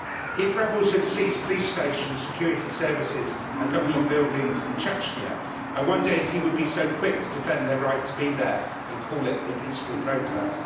If rebels had seized police stations, security services and government buildings in Chechnya, I wonder if he would have been so quick to defend their right to be there and call it a peaceful protest.